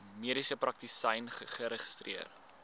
mediese praktisyn geregistreer